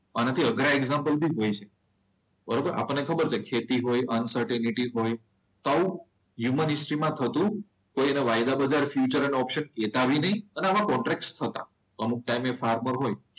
આનાથી અઘરા એક્ઝામ્પલ લઈ શકાય. બરોબર આપણને ખબર છે કે ખેતી હોય અનસિટરિટી હોય આવું હ્યુમન હિસ્ટ્રી માં થતું હોય. અને વાયદા બજાર ફ્યુચર અને ઓપ્શન આવા કોન્ટેક્ટ થતા હોય અમુક ટાઈમે ફાર્મર હોય.